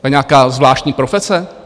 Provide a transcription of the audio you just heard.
To je nějaká zvláštní profese?